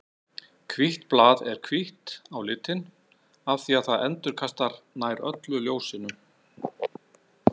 Hvítt blað er hvítt á litinn af því að það endurkastar nær öllu ljósinu.